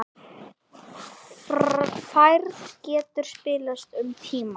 Færð getur spillst um tíma.